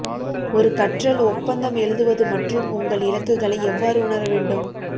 ஒரு கற்றல் ஒப்பந்தம் எழுதுவது மற்றும் உங்கள் இலக்குகளை எவ்வாறு உணர வேண்டும்